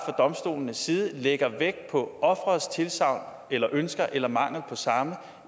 domstolenes side lægger vægt på offerets tilsagn eller ønsker eller mangel på samme